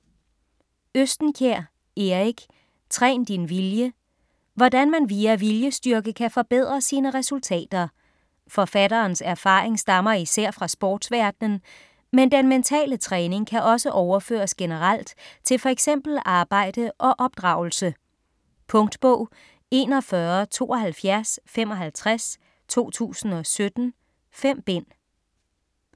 Østenkjær, Erik: Træn din vilje Hvordan man via viljestyrke kan forbedre sine resultater. Forfatterens erfaring stammer især fra sportsverdenen, men den mentale træning kan også overføres generelt til fx arbejde og opdragelse. Punktbog 417255 2017. 5 bind.